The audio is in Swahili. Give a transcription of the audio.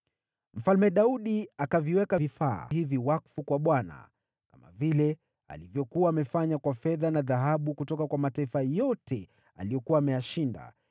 Mfalme Daudi akaviweka vifaa hivi wakfu kwa Bwana , kama vile alivyokuwa amefanya kwa fedha na dhahabu kutoka kwa mataifa yote aliyokuwa ameyashinda: